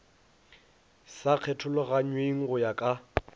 sa kgethologanyweng go ya ka